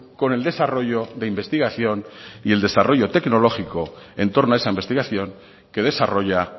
con el desarrollo de investigación y el desarrollo tecnológico en torno a esa investigación que desarrolla